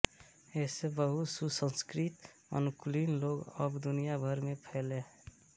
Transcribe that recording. ऐसे बहु सुसंस्कृत अनुकूली लोग अब दुनिया भर में फैले हैं